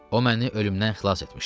O məni ölümdən xilas etmişdi.